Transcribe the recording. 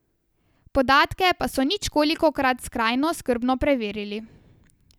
Podatke pa so ničkolikokrat skrajno skrbno preverili.